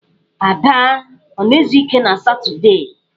Ada ọ na-ezu ike na Satọọdee?